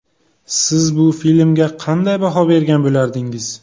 Siz bu filmga qanday baho bergan bo‘lardingiz?